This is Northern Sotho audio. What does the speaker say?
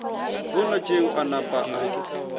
bona tšeo a napa a